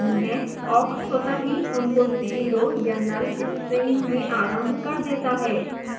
awk स्वतः ही उनको zero या null string में आरंभ कर देता है